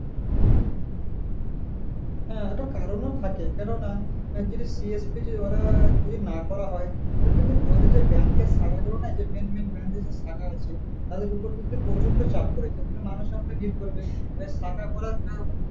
হ্যাঁ একটা কারণ থাকে কেননা যদি TFTD ওরা যদি না করা হয় তাহলে কিন্তু আমাদের যে bank এর শাখা গুলো নাই যে main main bank এর যে শাখা আছে তাদের উপর কিন্তু প্রচন্ড চাপ পরে যাই কিন্তু ভিড় করে দেয় এবার শাখা গোলা যে